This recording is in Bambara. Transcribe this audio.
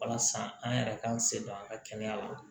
Walasa an yɛrɛ k'an se don an ka kɛnɛya la